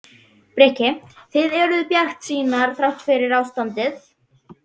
Breki: Þið eruð bjartsýnar þrátt fyrir ástandið?